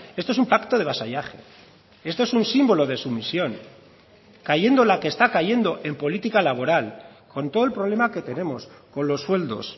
esto es un pacto de vasallaje esto es un símbolo de sumisión cayendo la que está cayendo en política laboral con todo el problema que tenemos con los sueldos